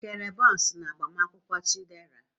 E kere bọns n'agbamakwụkwọ Chidera?